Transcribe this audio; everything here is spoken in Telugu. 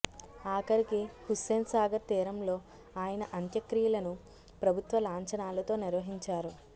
ఆఖరికి హుస్సేన్ సాగర్ తీరంలో ఆయన అంత్యక్రియలను ప్రభుత్వ లాంఛనాలతో నిర్వహించారు